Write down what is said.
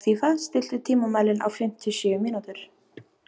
Hrafnfífa, stilltu tímamælinn á fimmtíu og sjö mínútur.